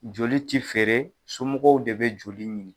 Joli tɛ fɛɛrɛ somɔgɔw de bɛ joli ɲini.